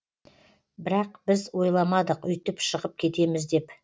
бірақ біз ойламадық үйтіп шығып кетеміз деп